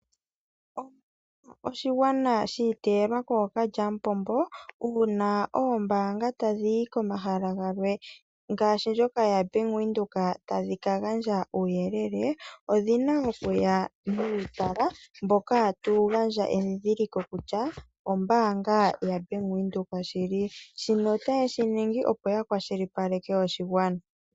Omolwa oshigwana shi iteyelwa kookalya mupombo, uuna oombaanga tadhi yi komahala galwe ngaashi ndjoka yaBank Windhoek tadhi ka gandja uuyelele odhina okuya nuutala mboka tawu gandja endhindhiliko kutya ombaanga yaBank Windhoek shili. Shino otaye shi ningi opo ya kwashilipaleke oshigwana.